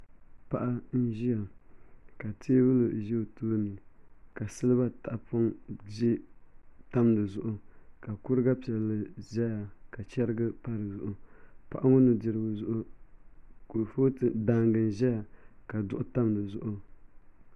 Paɣa n ʒiya ka teebuli ʒɛ o tooni ka silba tahapoŋ tam di zuɣu ka kuriga piɛlli ʒɛya ka chɛrigi pa dizuɣu paɣa ŋo nudirigu zuɣu kurifooti balli n ʒɛya ka duɣu tam dizuɣu